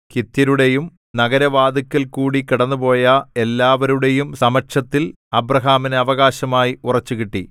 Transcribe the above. ഹിത്യരുടെയും നഗരവാതിൽക്കൽക്കൂടി കടന്നുപോയ എല്ലാവരുടെയും സമക്ഷത്തിൽ അബ്രാഹാമിന് അവകാശമായി ഉറച്ചുകിട്ടി